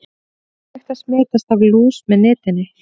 Ekki er hægt að smitast af lús með nitinni.